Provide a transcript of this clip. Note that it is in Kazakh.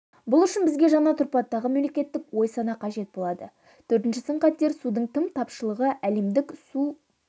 бұл үшін бізге жаңа тұрпаттағы мемлекеттік ой-сана қажет болады төртінші сын-қатер судың тым тапшылығы әлемдік су